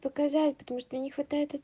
показать потому что мне не хватает